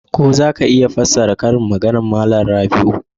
Ko za ka iya fassara karin maganar Malam Rabiu?